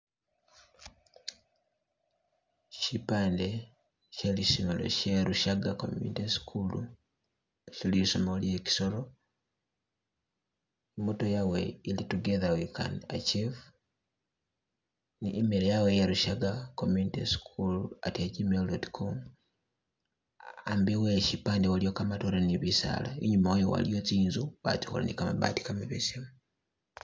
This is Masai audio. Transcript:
Shipande shelisomelo lya sherushaga community school she'lisomelo lye kisoro imoto yawe ili " together we can achieve" ni email yawe ya "rushaga communityschool@gmail.com" ambi we'shipande waliwo kamatore ni biisala ninyumawayo waliyo tsintsu batsikhola ni'kamabatti kamabesemu